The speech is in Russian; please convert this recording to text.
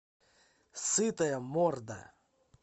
сытая морда